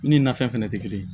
U ni nafɛn fɛnɛ tɛ kelen ye